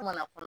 Kuma la